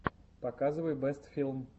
показывай бэст филм бэст фильм